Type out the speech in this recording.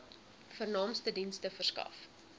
vernaamste dienste verskaf